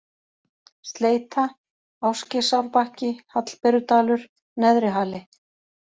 Sleita, Ásgeirsárbakki, Hallberudalur, Neðrihali